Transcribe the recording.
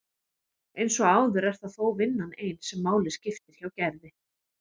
Eins og áður er það þó vinnan ein sem máli skiptir hjá Gerði.